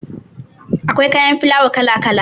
Akwai kayan filawa kala kala